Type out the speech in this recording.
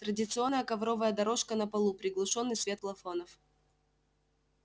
традиционная ковровая дорожка на полу приглушённый свет плафонов